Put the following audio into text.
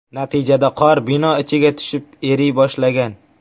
Natijada qor bino ichiga tushib, eriy boshlagan.